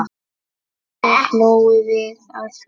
Mikið hlógum við að því.